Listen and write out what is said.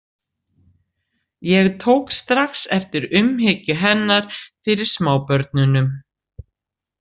Ég tók strax eftir umhyggju hennar fyrir smábörnunum.